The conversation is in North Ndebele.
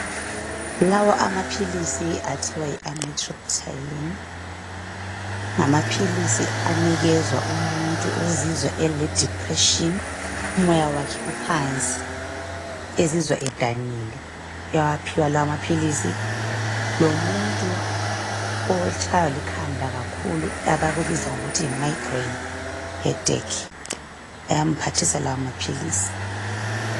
Lawa amaphilisi athiwa yi amitriptyline, ngamaphilisi anikezwa umuntu ozizwa eledipreshini, umoya wakhe uphansi, ezizwa edanile ewaphiwa lawa maphilisi .Lomuntu otshaywa likhanda kakhulu okuthiwa yimigraine headache ayamphathisa lawa maphilisi.